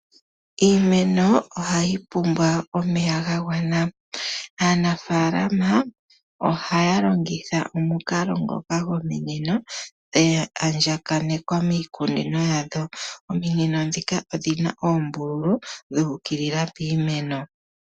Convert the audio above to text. Iimeno ohayi pumbwa omeya ga gwana. Aanafalama ohaya longitha omukalo ngoka gwominino, dha andjakanekwa miikunino yawo. Ominino ndhika odhi na oombululu, dhu ukilila piimeno.